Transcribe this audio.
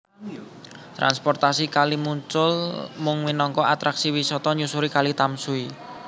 Transportasi kali muncul mung minangka atraksi wisata nyusuri Kali Tamsui